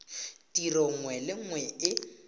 tiro nngwe le nngwe e